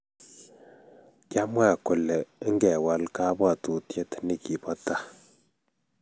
Kyamwa kole ngewal kabwatutyet nigibo tai